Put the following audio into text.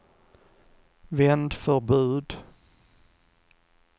vändförbud